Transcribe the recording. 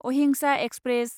अहिंसा एक्सप्रेस